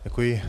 Děkuji.